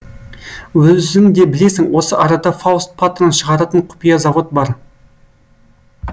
өзің де білесің осы арада фауст патрон шығаратын құпия завод бар